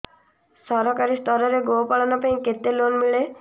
ସରକାରୀ ସ୍ତରରେ ଗୋ ପାଳନ ପାଇଁ କେତେ ଲୋନ୍ ମିଳେ